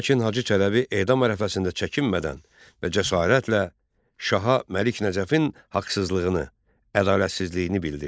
Lakin Hacı Çələbi edam ərəfəsində çəkinmədən və cəsarətlə şaha Məlik Nəcəfin haqsızlığını, ədalətsizliyini bildirdi.